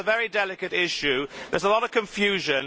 This is a very delicate issue. There is a lot of confusion.